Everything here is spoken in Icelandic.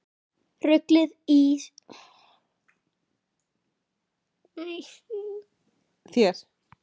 Ruglið í þér!